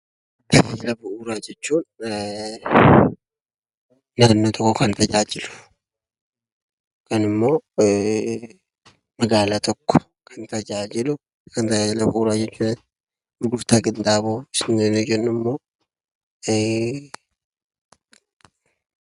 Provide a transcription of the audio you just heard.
Tajaajila bu'uuraa jechuun naannoo tokko kan tajaajilu yookiin immoo magaalaa tokko kan tajaajila bu'uuraa jedhama. Gurgurtaa qinxaaboo jechuun immoo gurgurtaa dimshaashatti gurguramu osoo hin taane irraa jalaan bituu fi gurguruudha.